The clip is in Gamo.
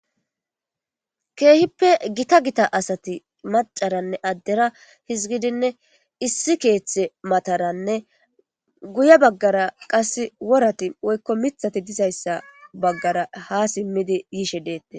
Keehippe gita gita asati macara aderanne hizigidinne issi keetha mataranne guye bagara mithati woy worati dizaysa matara ha simid yishe detes